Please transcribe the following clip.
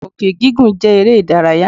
Òkè gígùn jẹ́ eré ìdárayá.